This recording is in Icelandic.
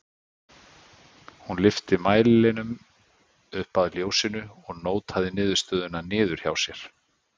Hún lyfti mælinum upp að ljósinu og nótaði niðurstöðuna niður hjá sér.